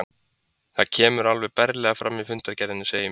Og það kemur alveg berlega fram í fundargerðinni, segir mér